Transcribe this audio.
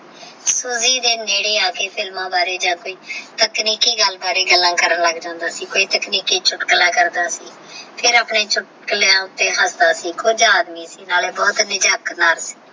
ਸੂਜੀ ਦੇ ਨਿਦੇ ਆਕ੍ਰ ਫ਼ਿਲਮਾ ਬਾਰੇ ਜਾ ਕੋਈ ਤਕਨੀਕੀ ਗੱਲ ਬਾਰੇ ਗੱਲਾਂ ਕਰਨ ਲੱਗ ਜਾਂਦਾ ਸੀ ਕੋਈ ਤੇਚ੍ਨਿਕੀ ਚੁਟਕੁਲਾ ਕਰਦਾ ਸੀ ਫਿਰ ਆਪਣੀ ਚੁਤ੍ਕੁਲਿਯਾ ਉੱਤੇ ਹਸਦਾ ਕੀ ਖੁਲਾ ਆਦਮੀ ਸੀ